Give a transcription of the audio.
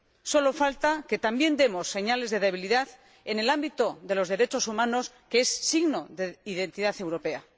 Solo falta que también demos señales de debilidad en el ámbito de los derechos humanos, que es signo de identidad europea.